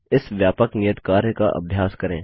इस व्यापक नियत कार्य का अभ्यास करें